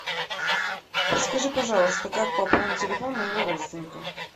подскажи пожалуйста как пополнить телефон моего родственника